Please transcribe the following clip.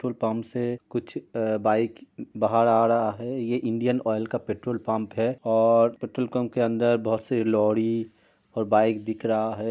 Pump से कुछ अ बाइक बहार आ रहा है। ये इंडियन ऑयल का पेट्रोल पंप है और पेट्रोल पंप के अंदर बहुत सी लौड़ी और बाइक दिख रहा है।